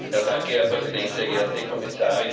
Herr Präsident, sehr geehrte Kommissarin!